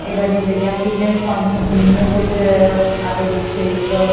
એ બધી જગ્યા fitness point નુ જીમ નુ કોઇ જ આપેલુ છે એક.